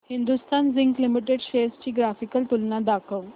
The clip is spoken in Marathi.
हिंदुस्थान झिंक लिमिटेड शेअर्स ची ग्राफिकल तुलना दाखव